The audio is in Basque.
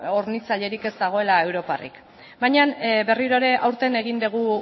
hornitzailerik ez dagoela europatik baina berriro ere aurten egin dugu